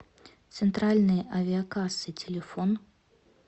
центральные авиакассы телефон